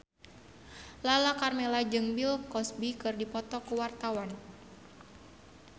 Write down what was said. Lala Karmela jeung Bill Cosby keur dipoto ku wartawan